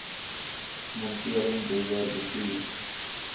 monitering beheer bestuur